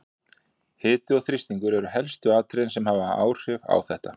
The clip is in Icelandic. Hiti og þrýstingur eru helstu atriðin sem hafa áhrif á þetta.